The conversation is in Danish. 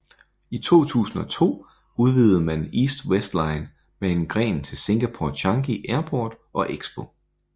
I 2002 udvidede man East West Line med en gren til Singapore Changi Airport og Expo